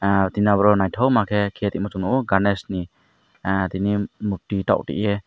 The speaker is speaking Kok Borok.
aw tini abo ke nythok ma ke ke reema chumo ganesh ni ah tini murti tor tie.